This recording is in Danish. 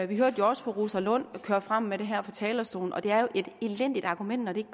vi hørte også fru rosa lund køre frem med det her fra talerstolen og det er jo et elendigt argument når det